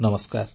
ନମସ୍କାର